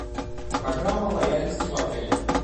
программа лояльности в отеле